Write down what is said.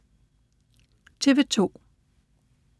TV 2